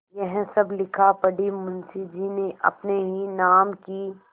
यह सब लिखापढ़ी मुंशीजी ने अपने ही नाम की क्